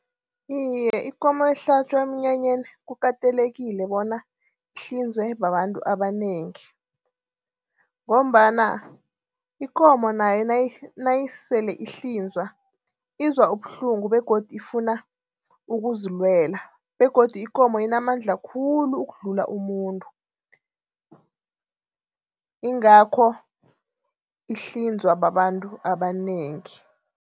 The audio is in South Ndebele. Iye, ikomo ehlatjwa emnyanyeni kukatelekile bona ihlinzwe babantu abanengi. Ngombana ikomo nayo nayisele ihlinzwa izwa ubuhlungu begodu ifuna ukuzilwela begodu ikomo inamandla khulu ukudlula umuntu ingakho ihlinzwa babantu abanengi.